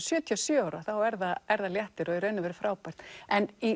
sjötíu og sjö ára þá er það er það léttir og í raun og veru frábært en